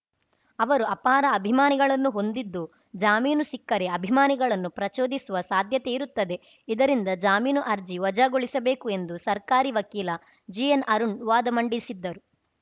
ಅವರು ಅಪಾರ ಅಭಿಮಾನಿಗಳನ್ನು ಹೊಂದಿದ್ದು ಜಾಮೀನು ಸಿಕ್ಕರೆ ಅಭಿಮಾನಿಗಳನ್ನು ಪ್ರಚೋದಿಸುವ ಸಾಧ್ಯತೆ ಇರುತ್ತದೆ ಈ ಇದರಿಂದ ಜಾಮೀನು ಅರ್ಜಿ ವಜಾಗೊಳಿಸಬೇಕು ಎಂದು ಸರ್ಕಾರಿ ವಕೀಲ ಜಿಎನ್‌ಅರುಣ್‌ ವಾದ ಮಂಡಿಸಿದ್ದರು